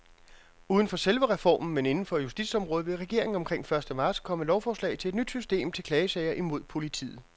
Uden for selve reformen, men inden for justitsområdet, vil regeringen omkring første marts komme med lovforslag om et nyt system til klagesager imod politiet.